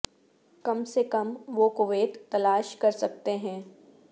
کم سے کم وہ کویت تلاش کر سکتے ہیں